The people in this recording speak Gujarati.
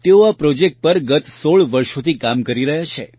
તેઓ આ પ્રોજેક્ટ પર ગત ૧૬ વર્ષોથી કામ કરી રહ્યાં છે